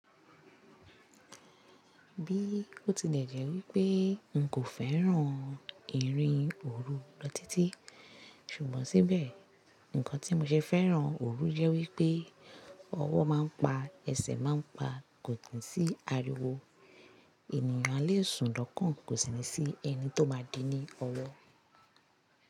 Bí ó ti lè jẹ́ wípé nu kò fẹ́ràn ìrìn òru lọ títí, ṣùgbọ́n síbẹ̀ nǹkan tí mo ṣe fẹ́ràn òru jẹ́ wípé ọwọ́ máa ń pa, ẹsẹ̀ máa ń pa, kò tì sí ariwo, ènìyàn a lé sùn doọ́kàn kò sì ní sí ẹni tó máa dín ni ọwọ́